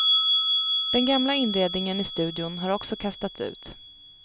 Den gamla inredningen i studion har också kastats ut.